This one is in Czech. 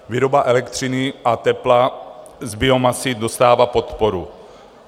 Výroba elektřiny a tepla z biomasy dostává podporu.